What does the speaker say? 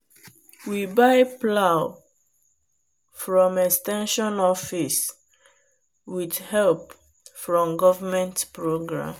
we buy plow from ex ten sion office with help from government program.